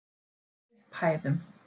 Upphæðum